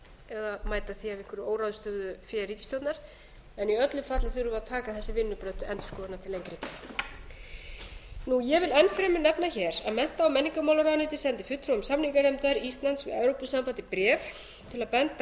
eða mæta einhverju óráðstöfuðu fé ríkisstjórnar en í öllu falli þurfum við að taka þessi vinnubrögð til endurskoðunar lengri tíma ég vil enn fremur nefna að mennta og menningarmálaráðuneytið sendi fulltrúa samninganefndar íslands við evrópusambandið bréf til að benda á